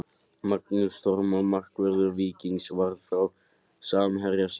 Magnús Þormar markvörður Víkings varði frá samherja sínum.